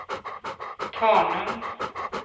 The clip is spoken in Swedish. Tanum